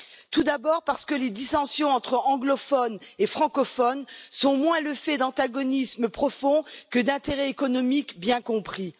Tout d'abord, parce que les dissensions entre anglophones et francophones sont moins le fait d'antagonismes profonds que d'intérêts économiques bien compris.